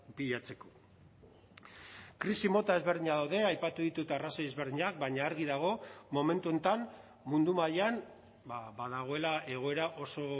bilatzeko krisi mota ezberdinak daude aipatu ditut arrazoi ezberdinak baina argi dago momentu honetan mundu mailan ba dagoela egoera oso